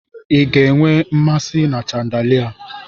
Ị ka nwee nmasị na chandalia?